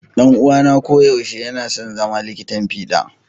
Dan'uwana koyaushe yana son zama likitan fiɗa.